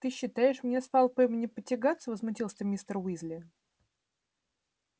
ты считаешь мне с малфоем не потягаться возмутился мистер уизли